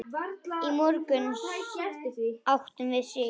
Í morgun áttum við Sig.